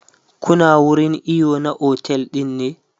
Kuna wurin iyo na otel ɗin ne?